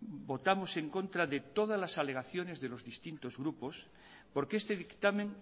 votamos en contra de todas las alegaciones de los distintos grupos porque este dictamen